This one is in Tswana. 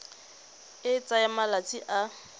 e e tsayang malatsi a